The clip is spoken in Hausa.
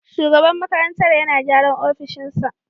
Shugaban makarantar yana gyara opishin sa